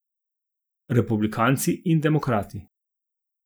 Republikanci in demokrati.